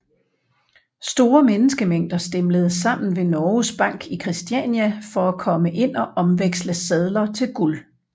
Store menneskemængder stimlede sammen ved Norges Bank i Kristiania for at komme ind og omveksle sedler til guld